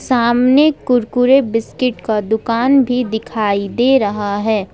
सामने कुरकुरे बिस्किट का दुकान भी दिखाई दे रहा है।